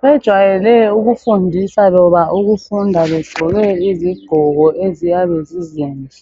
bajwayele ukufundisa loba ukufunda begqoke izigqoko eziyabe zizinhle